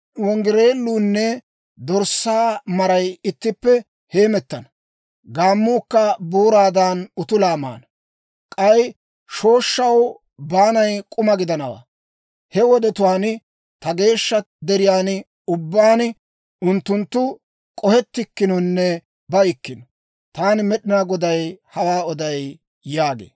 Okoruunne dorssaa maray ittippe heemettana; gaammuukka booraadan, utulaa maana. K'ay shooshshaw baanay k'uma gidanawaa. He wodetuwaan ta geeshsha deriyaan ubbaan, unttunttu k'ohetikkinonne baykkino. Taani Med'inaa Goday hawaa oday» yaagee.